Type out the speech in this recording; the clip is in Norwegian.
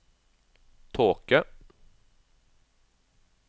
tåke